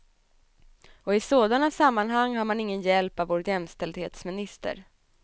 Och i sådana sammanhang har man ingen hjälp av vår jämställdhetsminister.